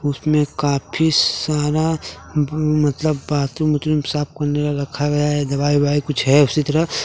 उसमें काफी सारा मतलब बाथरूम साफ करने वाला रखा गया हैं दवाई वाई हैं कुछ हैं उसी तरह।